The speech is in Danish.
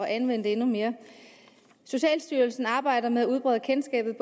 anvende det endnu mere socialstyrelsen arbejder med at udbrede kendskabet